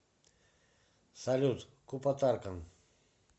салют куппа таркан